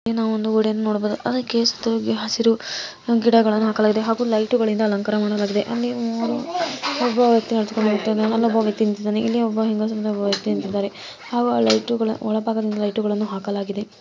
ಇಲ್ಲಿ ನಾವು ಒಂದು ವಿಡಿಯೋನಾ ನೋಡಬಹುದು ಸ್ಟ್ರೇಸ್‌ಕೇಸ್‌ ಗೆ ಹಸಿರು ಗಿಡಗಳನ್ನು ಹಾಕಲಾಗಿದೆ ಹಾಗೂ ಲೈಟ್‌ ಗಳಿಂದ ಅಲಂಕಾರ ಮಾಡಲಾಗಿದೆ ಅಲ್ಲಿ ಒಬ್ಬ ಏನೋ ತಿಂತಿದ್ದಾನೆ ಇಲ್ಲಿ ಒಬ್ಬ ಹೆಂಗಸು ಜೊತೆ ತಿಂತಿದ್ದಾನೆ ಒಳಭಾಗದಲ್ಲಿ ಲೈಟ್‌ ಗಳನ್ನು ಹಾಕಲಾಗಿದೆ.